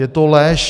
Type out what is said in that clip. Je to lež.